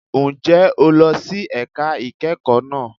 Ǹjẹ́ o lọ sí ẹ̀ka ìkẹ́kọ̀ọ́ náà?